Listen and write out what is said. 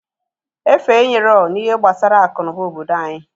Efe enyeroo n'ihe gbasa aku n'uba obodo anyị.